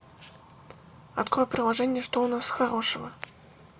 открой приложение что у нас хорошего